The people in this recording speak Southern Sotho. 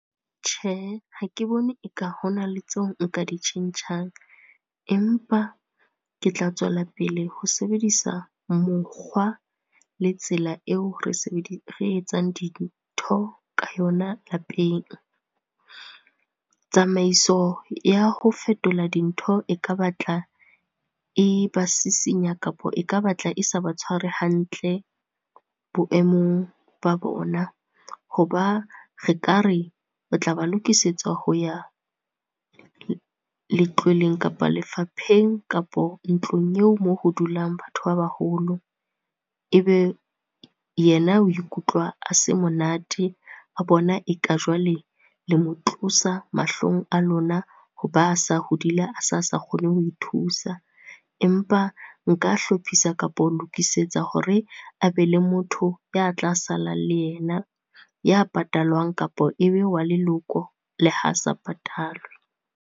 Tjhe, ha ke bone eka hona le tseo nka di tjhentjhang, empa ke tla tswelapele ho sebedisa mokgwa le tsela eo re , re etsang dintho ka yona lapeng. Tsamaiso ya ho fetola dintho e ka batla e ba sisinya, kapa e ka batla e sa ba tshware hantle, boemong ba bona. Hoba re ka re, o tla ba lokisetsa ho ya, letlweleng kapa lefapheng kapo ntlong eo moo ho dulang batho ba baholo. Ebe yena o ikutlwa a se monate a bona e ka jwale le mo tlosa mahlong a lona ho ba a sa hodile, a sa sa kgone ho ithusa. Empa nka hlophisa kapa o lokisetsa hore a be le motho ya tla sala le yena, ya patalwang kapo ebe wa leloko le ha sa patalwe.